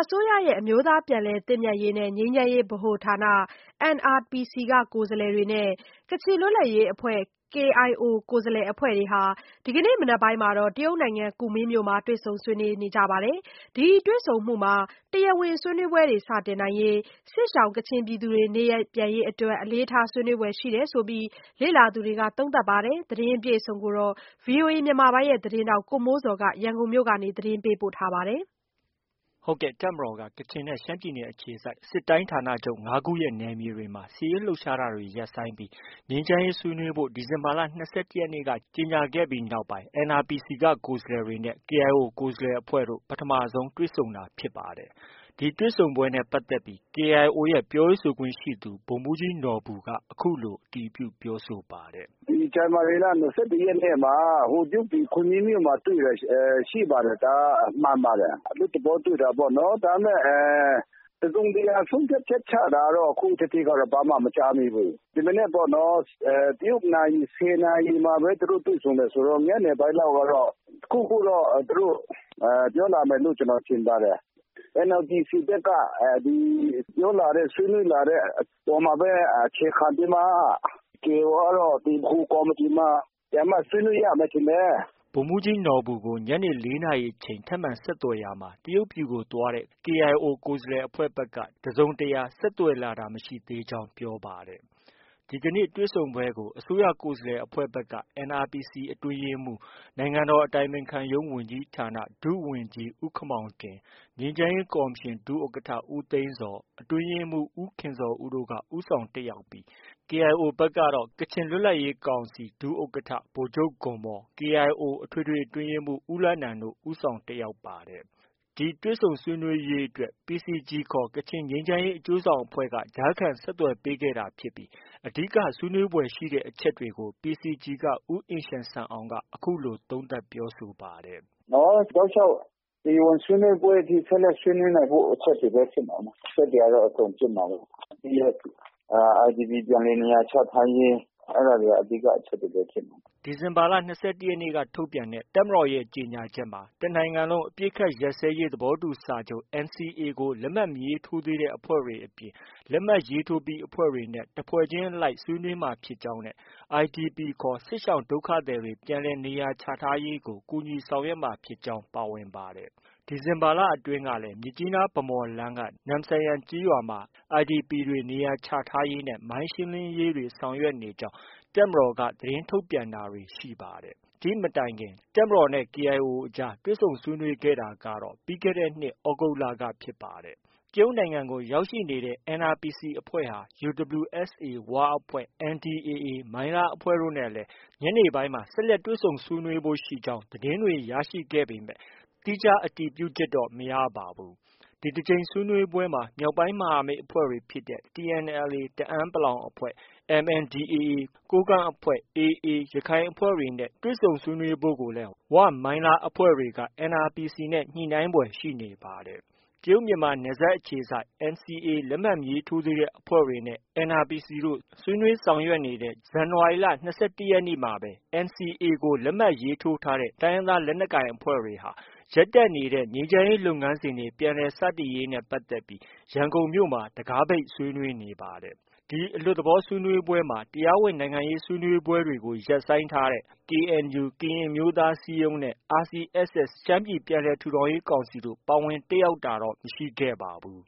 စိုးရရဲ့ အမျိုးသားပြန်လည်သင့်မြတ်ရေးနဲ့ ငြိမ်းချမ်းရေးဗဟိုဌာန NRPC က ကိုယ်စားလှယ်တွေနဲ့ ကချင်လွတ်လပ်ရေးအဖွဲ့ KIO ကိုယ်စားလှယ်အဖွဲ့ဟာ ဒီကနေ့ မနက်ပိုင်းက တရုတ်နိုင်ငံ ကူမင်းမြို့မှာ တွေ့ဆုံဆွေးနွေးကြပါတယ်။ ဒီတွေ့ဆုံမှုမှာ တရားဝင်ဆွေးနွေးပွဲတွေ စတင်နိုင်ရေးနဲ့ စစ်ရှောင်ပြည်သူတွေ နေရပ်ပြန်ရေးအတွက် အလေးထားဆွေးနွေးဖွယ်ရှိကြောင်း လေ့လာသူတွေက သုံးသပ်ပါတယ်။ ဒီသတင်းကိုတော့ ဗွီအိုအေ မြန်မာပိုင်းရဲ့သတင်းထောက် ကိုမိုးဇော်က တင်ပြထားပါတယ်။ တပ်မတော်က ကချင်နဲ့ ရှမ်းပြည်နယ်အခြေစိုက် စစ်ဌာနချုပ် ၅ ခုရဲ့ နယ်မြေတွေမှာ စစ်ရေးလှုပ်ရှားတာတွေ ရပ်ဆိုင်းပြီး ငြိမ်းချမ်းရေးဆွေးနွေးဖို့ ဒီဇင်ဘာလ ၂၁ ရက်နေ့က ကြေညာခဲ့ပြီးနောက်ပိုင်း NRPC က ကိုယ်စားလှယ်တွေနဲ့ KIO ကိုယ်စားလှယ်အဖွဲ့တို့ ပထမဆုံး တွေ့ဆုံတာဖြစ်ပါတယ်။ ဒီနေ့ တွေ့ဆုံပွဲနဲ့ပတ်သက်ပြီး KIO ရဲ့ ပြောရေးဆိုခွင့်ရှိသူ ဗိုလ်မှုးကြီးနော်ဘူက အခုလို အတည်ပြုပြောဆိုပါတယ်။ “ ဒီဇန်နဝါရီလ ၂၁ရက်နေ့မှာ တရုတ်ပြည် ခွန်မင်း (ကူမင်း) မြို့မှာ တွေ့တာရှိပါတယ်။ ဒါက မှန်ပါတယ်။ အလွတ်သဘောတွေ့တာပေါ့နော်။ ဒါပေမဲ့ တစ်စုံတစ်ရာဆုံးဖြတ်ချက်ချတာတော့ ခုထိကတော့ ဘာမှ မကြားသေးဘူး။ ဒီမနက်ပေါ့ တရုတ်နာရီ ၁၀ နာရီမှာပဲ သူတို့ တွေ့ဆုံတယ်ဆိုတော့ ညနေပိုင်းလောက်ကတော့ တစ်ခုခုတော့ သူတို့ ပြောလာမယ်လို့ ကျနော်ထင်ပါတယ်။ NRPC ဘက်က ပြောလာတဲ့ ဆွေးနွေးလာတဲ့ ပေါ်မှာပဲ အခြေခံပြီးမှ KIO ကတော့ ဗဟိုကော်မတီမှာ ပြန်ပြီးမှ ဆွေးနွေးရမယ် ထင်တယ်။” ဗိုလ်မှုးကြီးနော်ဘူကိုညနေ ၄ နာရီအချိန် ထပ်မံဆက်သွယ်ရာမှာ တရုတ်ပြည်ကိုသွားတဲ့ KIO ကိုယ်စားလှယ်အဖွဲ့ဘက်က တစ်စုံတစ်ရာ ဆက်သွယ်လာတာ မရှိသေးကြောင်း ပြောပါတယ်။ ဒီကနေ့ တွေ့ဆုံပွဲကို အစိုးရကိုယ်စားလှယ်အဖွဲ့ဘက်က NRPC အတွင်းရေးမှုး နိုင်ငံတော်အတိုင်ပင်ခံရုံးဝန်ကြီးဌာန ဒုဝန်ကြီး ဦးခင်မောင်တင်၊ ငြိမ်းချမ်းရေးကော်မရှင် ဒုဥက္ကဌ ဦးသိန်းဇော်၊ အတွင်းရေးမှုး ဦးခင်ဇော်ဦးတို့ ဦးဆောင်တက်ရောက်ပြီး KIO ဘက်ကတော့ ကချင်လွတ်လပ်ရေးကောင်စီ ဒုဥက္ကဌ ဗိုလ်ချုပ်ဂွန်မော်၊ KIO အထွေထွေအတွင်းရေးမှူး ဦးလနန်တို့ ဦးဆောင်တက်ရောက်ပါတယ်။ ဒီတွေ့ဆုံဆွေးနွေးရေးအတွက်PCG ခေါ် ကချင်ငြိမ်းချမ်းရေးအကျိုးဆောင်အဖွဲ့ကကြားခံ ဆက်သွယ်ပေးခဲ့တာဖြစ်ပြီး အဓိက ဆွေးနွေးဖွယ်ရှိတဲ့အချက်တွေကို PCG က ဦးအင်ရှန်ဆန်အောင်က အခုလို သုံးသပ်ပြောဆိုပါတယ်။ “ တောက်လျှောက် တရားဝင်ဆွေးနွေးပွဲအထိ ဆက်လက်ဆွေးနွေးနိုင်ဖို့ အချက်တွေပဲ ဖြစ်မှာပါ။ အချက်တွေကတော့ အကုန်ဖြစ်မှာပါ။ ပြီးတော့ IDP ပြန်လည်နေရာချထားရေး အဲဒါတွေက အဓိက အချက်တွေပဲ ဖြစ်မှာပါ။” ဒီဇင်ဘာလ ၂၁ရက်နေ့က ထုတ်ပြန်တဲ့ တပ်မတော်ရဲ့ ကြေညာချက်မှာ တစ်နိုင်ငံလုံးအပစ်အခတ်ရပ်စဲရေးသဘောတူစာချုပ် NCA ကို လက်မှတ်မရေးထိုးသေးတဲ့ အဖွဲ့တွေအပြင် လက်မှတ် ရေးထိုးပြီးအဖွဲ့တွေနဲ့ တစ်ဖွဲ့ချင်းအလိုက်ဆွေးနွေးသွားမှာဖြစ်ကြောင်းနဲ့ IDP ခေါ် စစ်ရှောင်ဒုက္ခသည်တွေ ပြန်လည်နေရာချထားရေးကို ကူညီဆောင်ရွက်မှာဖြစ်ကြောင်း ပါဝင်ပါတယ်။ ဒီဇင်ဘာလအတွင်းကလည်း မြစ်ကြီးနား-ဗန်းမော်လမ်းက နမ့်ဆန်ယန်ရွာမှာ IDP တွေ နေရာချထားရေးနဲ့ မိုင်းရှင်းလင်းရေးတွေ ဆောင်ရွက်နေကြောင်း သတင်းထုတ်ပြန်တာတွေ ရှိပါတယ်။ ဒီ့မတိုင်ခင် တပ်မတော်နဲ့ KIO တို့ကြား တွေ့ဆုံဆွေးနွေးခဲ့တာကတော့ ပြီးခဲ့တဲ့နှစ် သြဂုတ်လကပါ။ တရုတ်နိုင်ငံကို ရောက်ရှိနေတဲ့ NRPC အဖွဲ့ဟာ UWSA ၀ အဖွဲ့၊ NDAA မိုင်းလားအဖွဲ့တို့နဲ့ ညနေပိုင်းမှာ ဆက်လက် တွေ့ဆုံဆွေးနွေးဖို့ ရှိကြောင်း သတင်းတွေ ရရှိခဲ့ပေမဲ့ သီးခြား အတည်ပြုချက်တော့ မရပါဘူး။ ဒီတစ်ကြိမ်ဆွေးနွေးပွဲမှာ မြောက်ပိုင်းမဟာမိတ်အဖွဲ့တွေဖြစ်တဲ့ TNLA တအန်း(ပလောင်) အဖွဲ့၊ MNDAA ကိုးကန့်အဖွဲ့ နဲ့ AA အဖွဲ့တွေနဲ့ တွေ့ဆုံဆွေးနွေးဖို့ကိုလည်း ဝ၊ မိုင်းလား အဖွဲ့တွေနဲ့ ညှိနှိုင်းနိုင်ဖွယ်ရှိနေပါတယ်။ တရုတ်- မြန်မာနယ်စပ်အခြေစိုက် NCA လက်မှတ်မရေးထိုးသေးတဲ့အဖွဲ့တွေနဲ့ NRPC တို့ ဆွေးနွေးနေတဲ့ ဇန်နဝါရီလ ၂၁ ရက်နေ့မှာပဲ NCA ကို လက်မှတ်ရေးထိုးထားတဲ့ တိုင်းရင်းသားလက်နက်ကိုင်အဖွဲ့တွေဟာ ရပ်တန့်နေတဲ့ ငြိမ်းချမ်းရေးလုပ်ငန်းစဉ်တွေ ပြန်လည်စတင်ရေးနဲ့ပတ်သက်ပြီး ရန်ကုန်မြို့မှာ တံခါးပိတ် ဆွေးနွေးနေပါတယ်။ ဒီအလွတ်သဘောဆွေးနွေးပွဲမှာ တရားဝင်နိုင်ငံရေးဆွေးနွေးပွဲတွေ ရပ်ဆိုင်းထားတဲ့ KNU ကရင်အမျိုးသားအစည်းအရုံးနဲ့ RCSS ရှမ်းပြည်ပြန်လည်ထူထောင်ရေးကောင်စီတို့ ပါဝင်တက်ရောက်တာတော့ မရှိပါဘူး